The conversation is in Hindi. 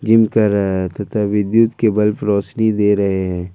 जिम कर रहा है तथा वीडियो के बल्ब रोशनी दे रहे हैं।